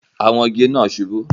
Àwọn igi náà subú